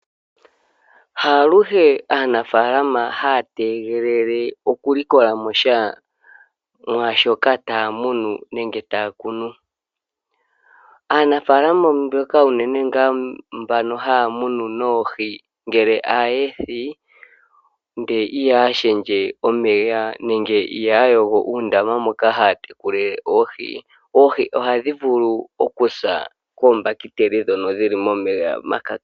Haluhe aanafalama hatenge oku likolamosha mwashoka tamunu nenge takunu, aanafalama mboka unene nga mbano hamunu noohii ngele ahethi ngele ihashendje omeya nenge ihayongo uundama mboka hatekulile oohii, oohii oha dhivulu okusa kombakiteli dhono dhili momeya maka.